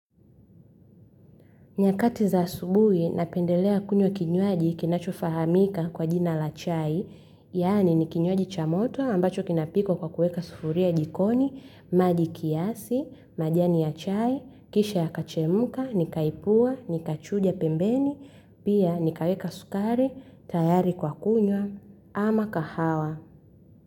Nyakati za asubuhi, napendelea kunywa kinywaji kinachofahamika kwa jina la chai, yaani ni kinywaji cha moto ambacho kinapikwa kwa kuweka sufuria jikoni, maji kiasi, majani ya chai, kisha yakachemka, nikaipua, nikachuja pembeni, pia nikaweka sukari, tayari kwa kunywa, ama kahawa.